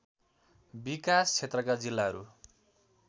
विकास क्षेत्रका जिल्लाहरू